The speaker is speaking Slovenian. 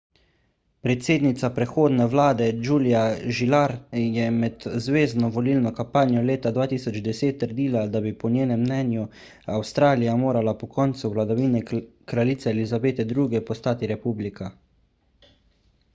predsednica prehodne vlade julia gillard je med zvezno volilno kampanjo leta 2010 trdila da bi po njenem mnenju avstralija morala po koncu vladavine kraljice elizabete ii postati republika